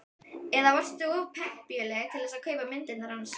Eða varstu of pempíuleg til þess að kaupa myndirnar hans?